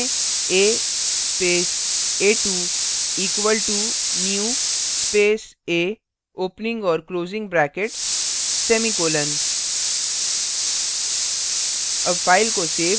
अतः type करें a space a2 equal to new space a opening और closing brackets semicolon